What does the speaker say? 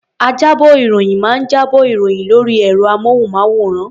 Ajábọ̀-ìròyìn máa ń jábọ̀ ìròyìn lórí ẹ̀rọ-amóhùnmáwòrán.